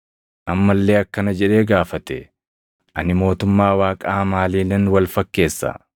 Amma illee akkana jedhee gaafate; “Ani mootummaa Waaqaa maaliinan wal fakkeessa?